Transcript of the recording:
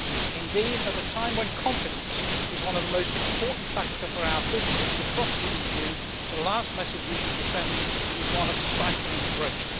Indeed, at a time when confidence is one of the most important factors for our businesses across the EU, the last message we should be sending is one of stifling growth.